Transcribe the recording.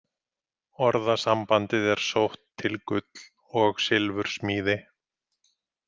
Orðasambandið er sótt til gull- og silfursmíði.